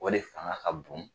O de fanga ka bon